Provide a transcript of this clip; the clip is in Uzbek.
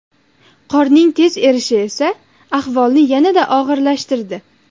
Qorning tez erishi esa ahvolni yanada og‘irlashtirdi.